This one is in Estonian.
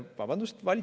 Vabandust!